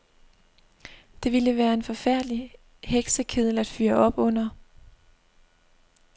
Det ville være en forfærdelig heksekedel at fyre op under.